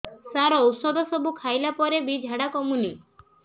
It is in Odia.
ସାର ଔଷଧ ସବୁ ଖାଇଲା ପରେ ବି ଝାଡା କମୁନି